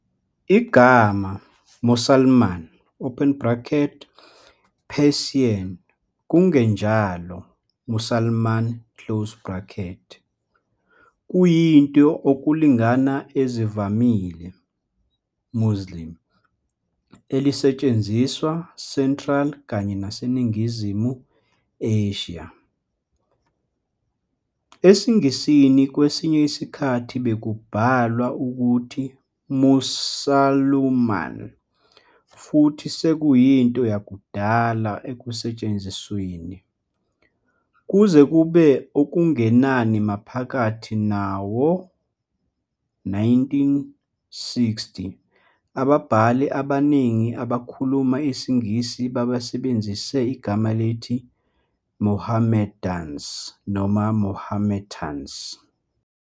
Igama "Mosalman", Persian, Kungenjalo "Mussalman" kuyinto okulingana ezivamile "Muslim" elisetshenziswa Central kanye naseNingizimu Asia. EsiNgisini kwesinye isikhathi bekubhalwa ukuthi Mussulman futhi sekuyinto yakudala ekusetshenzisweni. Kuze kube okungenani maphakathi nawo-1960, ababhali abaningi abakhuluma isiNgisi basebenzise igama elithi "Mohammedans" noma "Mahometans".